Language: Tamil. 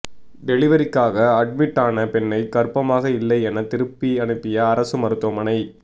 டெலிவரிக்காக அட்மிட்டான பெண்ணை கர்ப்பமாக இல்லை என திருப்பி அனுப்பிய அரசு மருத்துவமனை